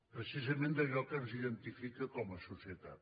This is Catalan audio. precisament d’allò que ens identifica com a societat